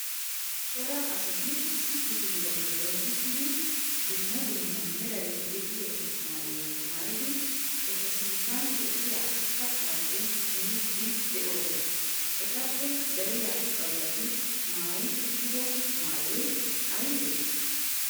cora asati issi kifiliya giddon uttidi dumma dumma meray de'iyo maayuwa maayidi eta sinttan de'iya kattappe miidi de'oosona, etappe dariya baggati maayi uttido maayoy aybbe?